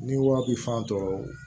Ni wari bi fan tɔɔrɔ